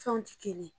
Fɛnw tɛ kelen ye